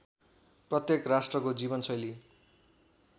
प्रत्येक राष्ट्रको जीवनशैली